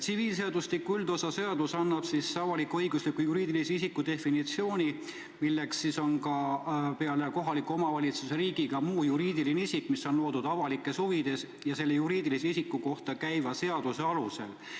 Tsiviilseadustiku üldosa seadus annab avalik-õigusliku juriidilise isiku definitsiooni, milleks on peale kohaliku omavalitsuse ja riigi ka muu juriidiline isik, mis on loodud avalikes huvides ja selle juriidilise isiku kohta käiva seaduse alusel.